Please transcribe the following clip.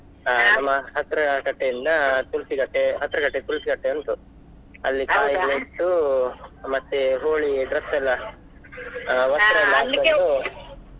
ನಮ್ಮ ಹತ್ರ ಕಟ್ಟೆ ಇಂದ ತುಳ್ಸಿ ಕಟ್ಟೆ, ಹತ್ರ ಕಟ್ಟೆ ತುಳ್ಸಿ ಕಟ್ಟೆ ಉಂಟು ಅಲ್ಲಿ ಇಟ್ಟು ಮತ್ತೆ Holi dress ಎಲ್ಲಾ, ವಸ್ತ್ರ ಎಲ್ಲ ಹಾಕೊಂಡು ಅದೇ ಓ ಓ.